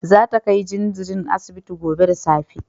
Za ta kai jinjirin asibiti gobe da safe